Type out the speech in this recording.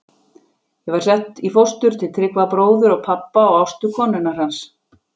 Ég var sett í fóstur, til Tryggva bróður pabba og Ástu konunnar hans.